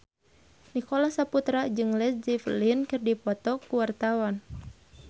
Nicholas Saputra jeung Led Zeppelin keur dipoto ku wartawan